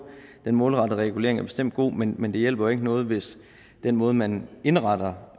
den målrettede regulering er bestemt god men men det hjælper jo ikke noget hvis den måde man indretter